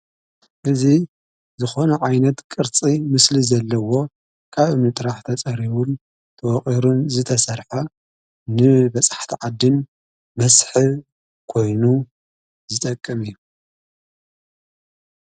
እዙ ዝኾነ ዓይነት ቕርፂ ምስሊ ዘለዎ ካብ ምጥራሕተ ጸሪቡን ተወቒሩን ዝተሠርሐ ን በጻሕቲ ዓድን መስሕብ ኮይኑ ዝጠቅም እዩ።